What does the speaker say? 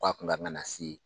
K'a kun kan ka na se